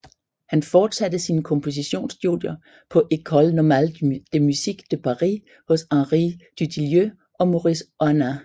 Han forsatte sine kompositionsstudier på École Normale de Musique de Paris hos Henri Dutilleux og Maurice Ohana